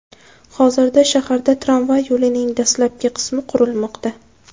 Hozirda shaharda tramvay yo‘lining dastlabki qismi qurilmoqda .